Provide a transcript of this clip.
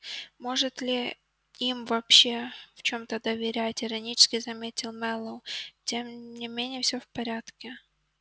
может ли им вообще в чём-то доверять иронически заметил мэллоу тем не менее всё в порядке